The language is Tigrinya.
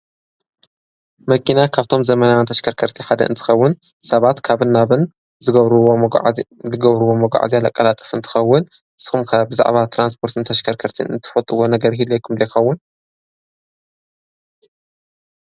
መኪና ካብቶም ዘመናንተሽከርከርቲ ሓደ እንስኸውን ሳባት ካብን ናብን ዝገብሩዎ መጕዕዚ ኣለ ቃላጥፍ ንትኸውን ስኹምካ ብዛዕባ ተራንስጶርትን ተሽከርከርቲን ንትፈጥዎ ነገር ሂለ ኣይኩም ልኻውን?